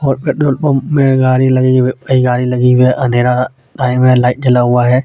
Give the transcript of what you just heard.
और petrol pump में गाड़ी लगी हुई गाड़ी लगी हुई है अंधेरा टाइम है लाइट जला हुआ है.